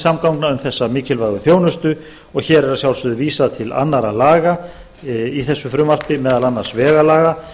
almenningssamgangna um þessa mikilvægu þjónustu og hér er að sjálfsögðu vísað til annarra laga í þessu frumvarpi meðal annars vegalaga